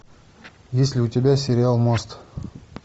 есть ли у тебя сериал мост